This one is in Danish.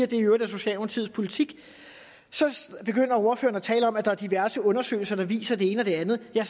det i øvrigt er socialdemokratiets politik så begynder ordføreren er tale om at der er diverse undersøgelser der viser det ene og det andet jeg